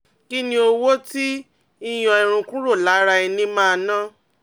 Kí ni owó tí ìyọ́n irun kúrò lára ara ẹni máa ná?